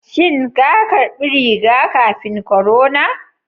Shin ka karɓi riga-kafin korona?